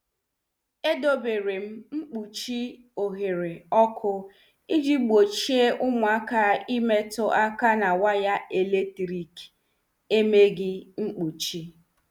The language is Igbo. E deberem mkpuchi oghere ọkụ iji gbochie ụmụaka imetụ aka n' waya eletrik emeghị mkpuchi.